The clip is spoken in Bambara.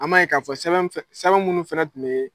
An m'a ye k'a fɔ sɛbɛn munnu fana tun bɛ